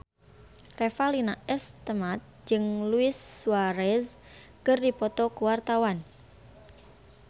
Revalina S. Temat jeung Luis Suarez keur dipoto ku wartawan